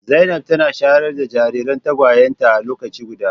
Zainab tana shayar da jariran tagwayenta a lokaci guda.